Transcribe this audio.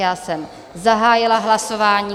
Já jsem zahájila hlasování.